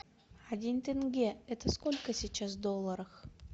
один тенге это сколько сейчас в долларах